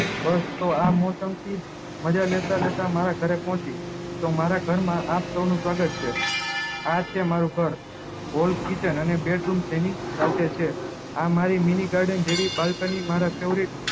દોસ્તો આ મૌસમ થી મજા લેતા જતા મારા ઘરે પહુચી તો મારા ઘરમાં આપ સૌ નું સ્વાગત છે આ છે મારું ઘર kitchen અને બેડરૂમ એની સાથેજ છે આ મારી mini garden મારી faourite